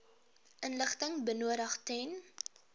inligting benodig ten